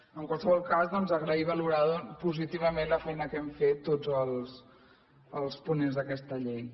en qualsevol cas doncs agrair i valorar positivament la feina que hem fet tots els ponents d’aquesta llei